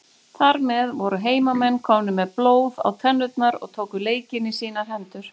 Þar með voru heimamenn komnir með blóð á tennurnar og tóku leikinn í sínar hendur.